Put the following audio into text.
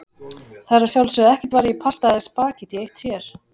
Það er að sjálfsögðu ekkert varið í pasta eða spaghetti eitt sér.